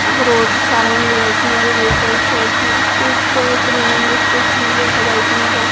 ఒక రోడ్డు చాలా మంది వెళ్తున్నారు. వెహికల్స్ వెళ్తున్నాయి.చూస్తే త్రీ మెంబర్స్ కూర్చున్నారు ఒక బైక్ మీద.